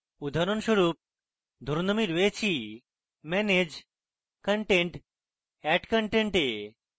উদাহরণস্বরূপ ধরুন আমি রয়েছি manage content>> add content এ